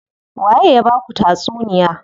Waye ya baku tatsuniya?